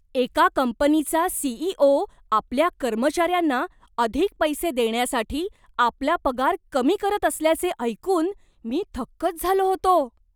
एका कंपनीचा सी.इ.ओ. आपल्या कर्मचाऱ्यांना अधिक पैसे देण्यासाठी आपला पगार कमी करत असल्याचे ऐकून मी थक्कच झालो होतो.